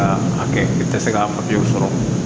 Ka a kɛ i tɛ se k'a sɔrɔ